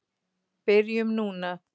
Byrjum núna.